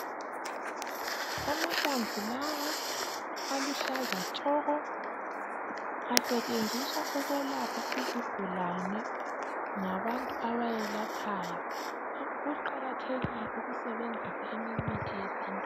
Amahlamvu lawa aluhlaza tshoko. Asetshenziswa ukwelapha izigulane ngabantu abayelaphayo. Kuqakathekile ukusebenzisa eminye imithi yesintu.